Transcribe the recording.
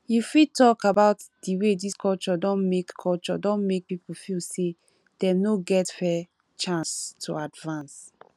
you fit talk about di way dis culture don make culture don make people feel say dem no get fair chance to advance